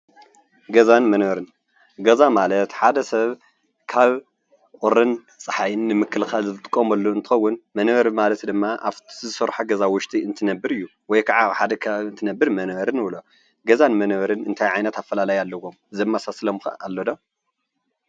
ገዛን መንበርን ገዛ ማለት ሓደ ሰብ ካብ ቁርን ፀሓይ ንምክልኻል ዝጥቀመሉ እንትኸዉን መንበሪ ማለት ድማ እብቲ ዝተሰርሐ ገዛ ዉሽጢ እንትነብር እዩ፡፡ ወይ ካዓ ኣብ ሓደ ከባቢ እንትነብር መንበሪ ንብሎ። ገዛን መንበርን እንታይ ዓይነት ኣፈላላይ ኣለዎም ዘመሳስሎም ከ ኣሎ ዶ?